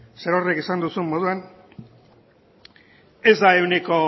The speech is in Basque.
zerorrek esan duzun moduan ez da ehuneko